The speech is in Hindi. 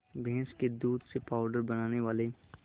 भैंस के दूध से पावडर बनाने वाले